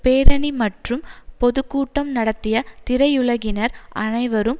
பேரணி மற்றும் பொது கூட்டம் நடத்திய திரையுலகினர் அனைவரும்